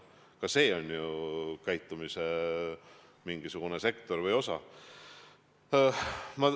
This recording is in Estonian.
Ka see on ju käitumise mingisugune osa.